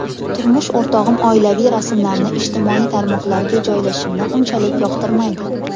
Turmush o‘rtog‘im oilaviy rasmlarni ijtimoiy tarmoqlarga joylashimni unchalik yoqtirmaydi.